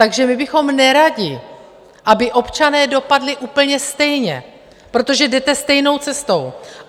Takže my bychom neradi, aby občané dopadli úplně stejně, protože jdete stejnou cestou.